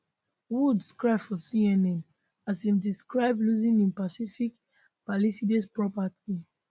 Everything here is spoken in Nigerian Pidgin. woods cry for cnn as im describe losing in pacific palisades property